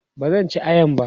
bazan ci ayan ba